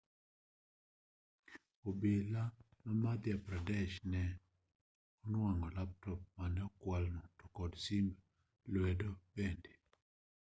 obila ma madhya pradesh ne onwang'o laptop mane okwalno to kod simb lwedo bende